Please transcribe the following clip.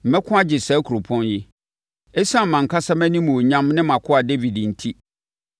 Mɛko agye saa kuropɔn yi, ɛsiane mʼankasa mʼanimuonyam ne mʼakoa Dawid enti!”